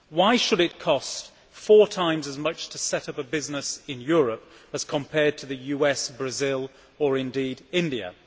Why should it cost four times as much to set up a business in Europe as compared to the US, Brazil or indeed India?